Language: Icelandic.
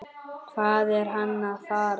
Hvað er hann að fara?